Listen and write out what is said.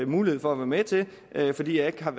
mulighed for at være med til fordi jeg ikke har